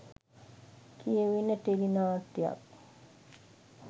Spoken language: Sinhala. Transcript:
කියවෙන ටෙලි නාට්‍යයක්.